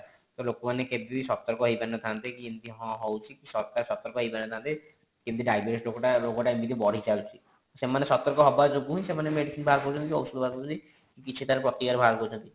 ତ ଲୋକ ମାନେ କେବେ ବି ସତର୍କ ହେଇ ପରି ନଥାନ୍ତେ କି ଏମିତି ହଁ ହଉଛି ସରକାର ବି ସତର୍କ ହେଇ ପରି ନଥାନ୍ତେ କେମିତି diabates ରୋଗ ଟା ଏମିତି ବଢି ଚାଲିଛି ସେମାନେ ସତର୍କ ହେବ ଯୋଗୁ ହିଁ ସେମାନେ medicine ବାହର କରୁଛନ୍ତି କି ଔଷଧ ବାହାର କରୁଛନ୍ତି କି କିଛି ତାର ପ୍ରତିକାର ବାହାର କରୁଛନ୍ତି